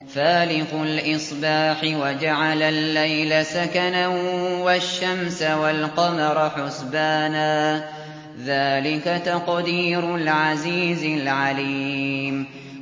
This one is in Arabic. فَالِقُ الْإِصْبَاحِ وَجَعَلَ اللَّيْلَ سَكَنًا وَالشَّمْسَ وَالْقَمَرَ حُسْبَانًا ۚ ذَٰلِكَ تَقْدِيرُ الْعَزِيزِ الْعَلِيمِ